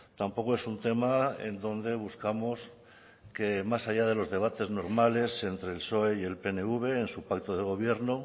tampoco es un tema en donde buscamos que más allá de los debates normales entre el psoe y el pnv en su pacto de gobierno